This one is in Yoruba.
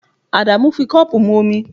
Adamu fi cup mu omi